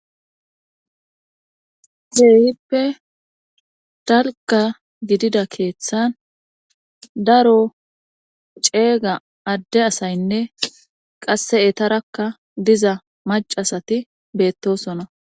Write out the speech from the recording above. Keeyhippe dalga gidida keeththan daro ceega adde asaynne qasse etarakka diza macasati beettosona